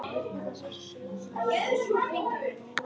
Hvað merkja orðin miklu fleiri?